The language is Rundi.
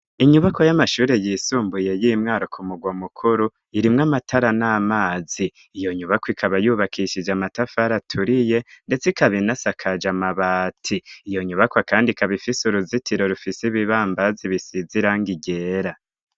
Inyubakwa y'amashuri yisumbuye y'i Mwaro ku murwa mukuru, irimwo amatara n'amazi. Iyo nyubakwa ikaba yubakishije amatafari aturiye ndetse ikaba inasakaje amabati. Iyo nyubakwa kandi ikaba ifise uruzitiro rufise ibibambazi bisize irangi ryera.